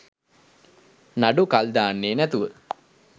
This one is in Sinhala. නඩු කල් දාන්නෙ නැතුව